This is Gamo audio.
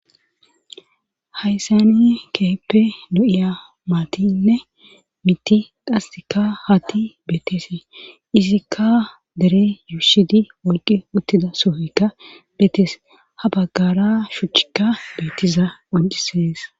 hayssani keehippe lo'iya maatinne mitti qasika hatti beetteese izikka dere yuushidi wolqi uttida sohoykka beetes ha baggara shuuchchikka beettiza qoncisees